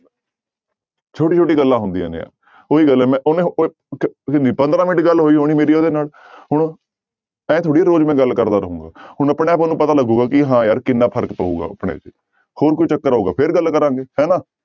ਛੋਟੀ ਛੋਟੀ ਗੱਲਾਂ ਹੁੰਦੀਆਂ ਨੇ ਉਹੀ ਗੱਲ ਹੈ ਮੈਂ ਉਹਨਾਂ ਨੂੰ ਉਹ ਪੰਦਰਾਂ ਮਿੰਟ ਗੱਲ ਹੋਈ ਹੋਣੀ ਮੇਰੀ ਉਹਦੇ ਨਾਲ ਹੁਣ ਇਉਂ ਥੋੜ੍ਹੀ ਆ ਰੋਜ਼ ਮੈਂ ਗੱਲ ਕਰਦਾ ਰਹਾਂਗਾ ਹੁਣ ਆਪਣੇ ਆਪ ਉਹਨੂੰ ਪਤਾ ਲੱਗੇਗਾ ਕਿ ਹਾਂ ਯਾਰ ਕਿੰਨਾ ਫ਼ਰਕ ਪਊਗਾ ਆਪਣੇ ਚ, ਹੋਰ ਕੋਈ ਚੱਕਰ ਆਊਗਾ ਫਿਰ ਗੱਲ ਕਰਾਂਗੇ ਹਨਾ।